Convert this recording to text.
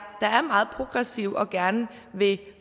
der er meget progressive og gerne vil